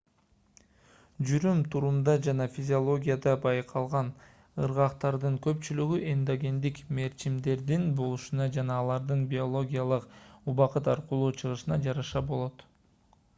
жүрүм-турумда жана физиологияда байкалган ыргактардын көпчүлүгү эндогендик мерчимдердин болушуна жана алардын биологиялык убакыт аркылуу чыгышына жараша болот